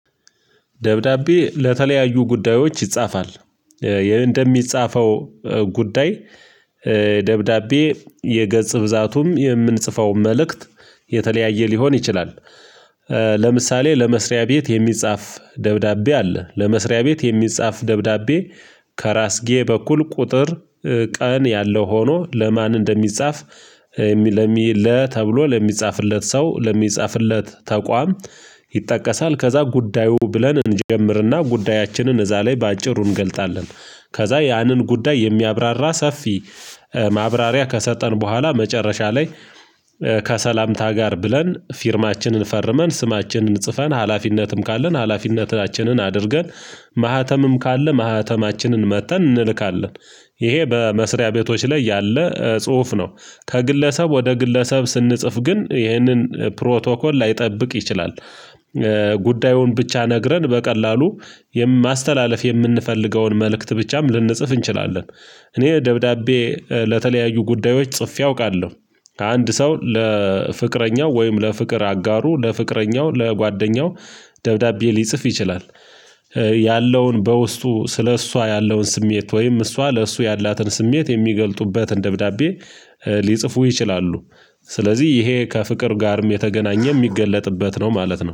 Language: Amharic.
ደብዳቤ ለተለያዩ ጉዳዮች ይጻፋል። እንደሚጻፈው ጉዳይ ደብዳቤ የገጽ ብዛቱም የምንጽፈው መልእክት የተለያየ ሊሆን ይችላል። ለምሳሌ ለመስሪያ ቤት የሚጻፍ ደብዳቤ አለ ለመስሪያ ቤት የሚጻፍ ደብዳቤ ከራስጌ በኩል ቁጥር ቀን ያለው ሆኖ ለማን እንደሚጻፍ ለሚል ተብሎ ለሚጻፍለት ሰው ለሚጻፍለት ተቋም ይጠቀሳል ከዛ ጉዳዩ ብለን እንጀምርና ጉዳያችንን እዛ ላይ በአጭሩ እንገልጣለን። ከዛ ያንን ጉዳይ የሚያብራራ ሰፊ ማብራሪያ ከሰጠን በኋላ መጨረሻ ላይ ከሰላምታ ጋር ብለን ፊርማችንን ፈርመን ስማችንን ጽፈን ሀላፊነትም ካለን ሀላፊነታችንን አድርገን ማህተምም ካለ ማህተማችንን መተን እንልካለን። ይሄ በመስሪያ ቤቶች ላይ ያለ ጽሁፍ ነው። ከግለሰብ ወደ ግለሰብ ስንጽፍ ግን ይህንን ፕሮቶኮል ላይጠብቅ ይችላል። ጉዳዩን ብቻ ነግረን በቀላሉ ማስተላለፍ የምንፈልገውን መልእክት ብቻም ልንጽፍ እንችላለን። እኔ ደብዳቤ ለተለያዩ ጉዳዮች ጽፌ አውቃለሁ። ከአንድ ሰው ለፍቅረኛው ወይም ለፍቅር አጋሩ ለፍቅረኛው ለጓደኛው ደብዳቤ ሊጽፍ ይችላል። ያለውን በውስጡ ስለእሷ ያለውን ስሜት ወይም እሷ ለእሷ ያላትን ስሜት የሚገልጡበትን ደብዳቤ ሊጽፉ ይችላሉ። ስለዚህ ይሄ ከፍቅር ጋርም የተገናኘ ሚገለጥበት ነው ማለት ነው